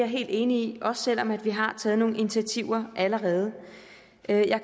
helt enig i også selv om vi har taget nogle initiativer allerede jeg jeg